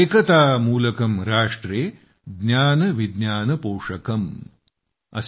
एकता मूलकम् राष्ट्रे ज्ञान विज्ञान पोषकम् ।